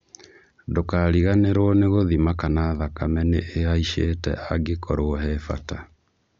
Ndũkariganirwo nĩ gũthima kana thakame nĩ ĩhaicite angĩkorwo he bata.